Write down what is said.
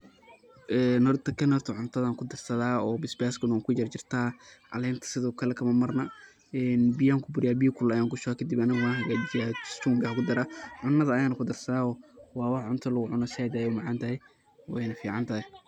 Een horta kan cuntadan kudarsadaa oo basbaska kujarjartaa calenta sidoo kale kamamarna een biyaan kuburiyaa biya kulul ayan kushubaa kadibna wan hagajiyaa chumbi ayan kudaraa cunada ayana kudarsadaa waa wax cunta lagu cuno zaid ayeyna u macan tahay weyna ficantahay.